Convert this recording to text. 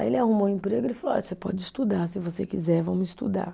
Aí ele arrumou o emprego e ele falou, olha, você pode estudar, se você quiser, vamos estudar.